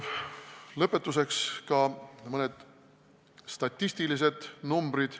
Lõpetuseks ka mõned statistilised numbrid.